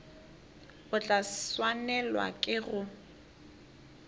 o tla swanelwa ke go